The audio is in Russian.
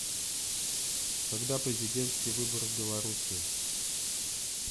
когда президентские выборы в беларуси